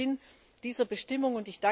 Das ist der Sinn dieser Bestimmung.